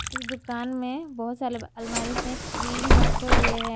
इस दुकान में बहोत सारे अलमारी पे क्रीम रखे हुए हैं।